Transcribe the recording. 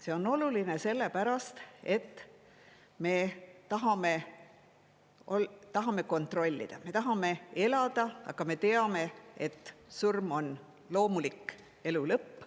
See on oluline, sellepärast, et me tahame kontrollida: me tahame elada, aga me teame, et surm on loomulik elu lõpp.